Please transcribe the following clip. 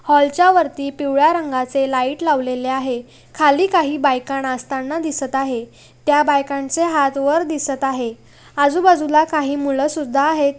Hall च्या वरती पिवळ्या रंगाचे लाइट लावलेले आहे. खाली काही बायका नाचताना दिसत आहे. त्या बायकांचे हाथ वर दिसत आहे आजूबाजू ला काही मूळ सुद्धा आहेत.